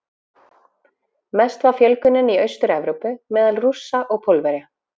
Mest var fjölgunin í Austur-Evrópu, meðal Rússa og Pólverja.